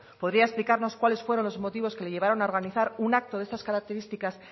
podría explicarlos cuáles fueron los motivos que le llevaron a organizar un acto de estas características